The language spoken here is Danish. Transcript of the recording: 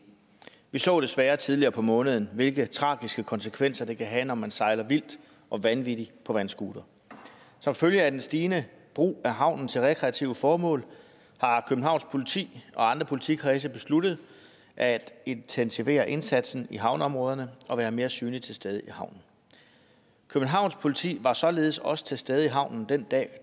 vi så desværre tidligere på måneden hvilke tragiske konsekvenser det kan have når man sejler vildt og vanvittigt på vandscooter som følge af den stigende brug af havnen til rekreative formål har københavns politi og andre politikredse besluttet at intensivere indsatsen i havneområderne og være mere synligt til stede i havnen københavns politi var således også til stede i havnen den dag